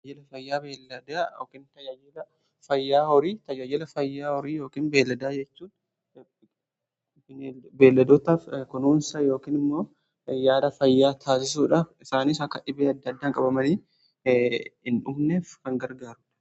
Fayyaa horii tajaajila fayyaa horii yookiin beelladaa jechuun beelladootaa kunuunsa yookiin immoo yaada fayyaa taasisuudha. Isaaniis akka dhibee adda addaan qabamanii hin dhumneef kan gargaarudha.